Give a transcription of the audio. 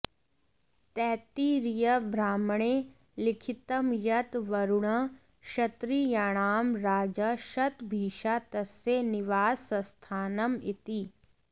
तैत्तिरीयब्राह्मणे लिखितं यत् वरुणः क्षत्रियाणां राजा शतभिषा तस्य निवासस्थानम् इति